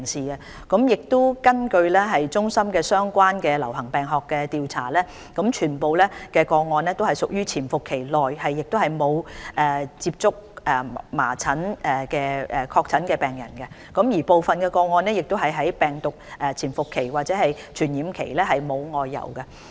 根據衞生防護中心的相關流行病學調查，全部個案均屬處於潛伏期，亦沒有接觸麻疹確診病人，部分個案的人士在病毒潛伏期或傳染期沒有外遊。